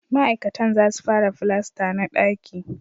Ma'aikatan za su fara filasta na daki